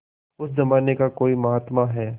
उस जमाने का कोई महात्मा है